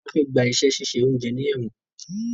Tola Fe gbà iṣé ṣiṣẹ oúnjẹ ní èwòn.